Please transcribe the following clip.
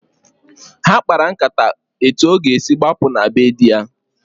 Ha kpara nkata etu ọ ga-esi gbapụ na be di ya.